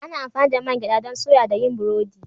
Ana amfani da man gyada don soya da yin burodi